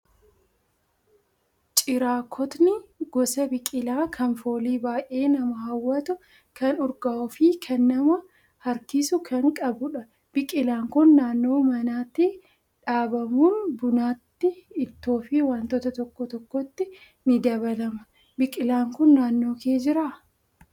Ciraakkotni gosa biqilaa kan foolii baay'ee nama hawwatu kan urgaa'uu fi kan nama harkisu kan qabudha. Biqilaan kun naannoo manaatti dhaabamuun bunatti, ittoo fi wantoota tokko tokkotti ni dabalama. Biqilaan kun naannoo kee jiraa?